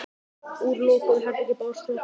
Úr lokuðu herbergi bárust hroturnar í pabba.